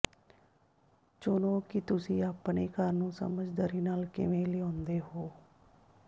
ਚੁਣੋ ਕਿ ਤੁਸੀਂ ਆਪਣੇ ਘਰ ਨੂੰ ਸਮਝਦਾਰੀ ਨਾਲ ਕਿਵੇਂ ਲਿਆਉਂਦੇ ਹੋ